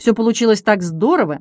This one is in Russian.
все получилось так здорово